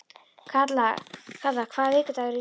Kalla, hvaða vikudagur er í dag?